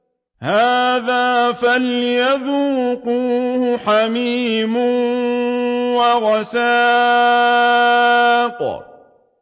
هَٰذَا فَلْيَذُوقُوهُ حَمِيمٌ وَغَسَّاقٌ